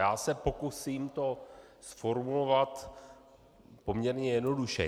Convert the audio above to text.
Já se pokusím to zformulovat poměrně jednoduše.